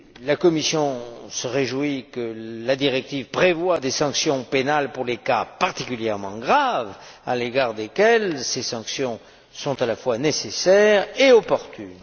La Commission se réjouit que la directive prévoie des sanctions pénales pour les cas particulièrement graves, à l'égard desquels ces sanctions sont à la fois nécessaires et opportunes.